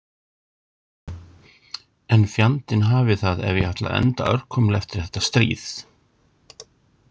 En fjandinn hafi það ef ég ætla að enda örkumla eftir þetta stríð